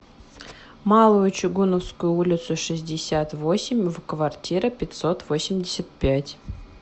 малую чугуновскую улицу шестьдесят восемь в квартира пятьсот восемьдесят пять